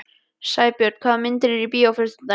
Sæbjörn, hvaða myndir eru í bíó á föstudaginn?